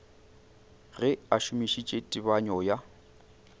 ge a šomišitše tebanyo ya